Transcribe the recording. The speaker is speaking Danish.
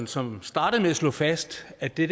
som startede med at slå fast at det